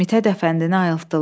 Mithət Əfəndini ayıltdılar.